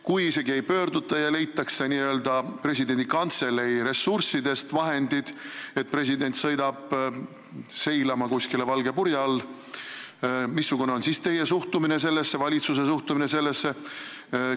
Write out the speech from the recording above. Kui isegi ei pöörduta ja leitakse n-ö presidendi kantselei ressurssidest vahendid selleks, et president sõidab kuskile valge purje all seilama, missugune on siis teie ja kogu valitsuse suhtumine sellesse?